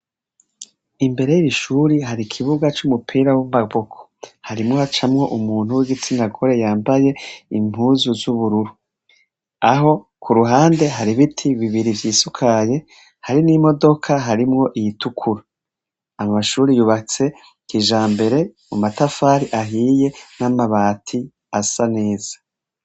imbere y'ishuri hari ikibuga cy'umupira w'amaboko harimwo hacamwo umuntu w'igitsina gore yambaye impuzu z'ubururu aho ku ruhande hari biti bibiri vy'isukaye hari n'imodoka harimwo iyitukura amashuri yubatse kijambere amatafari ahiye n'amabati asa neza